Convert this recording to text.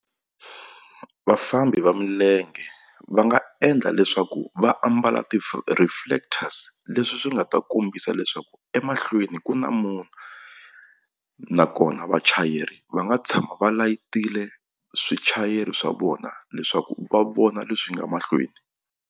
Vafambi va milenge va nga endla leswaku va ambala ti-reflectors leswi swi nga ta kombisa leswaku emahlweni ku na munhu nakona vachayeri va nga tshama va layitile swichayeri swa vona leswaku va vona leswi nga mahlweni.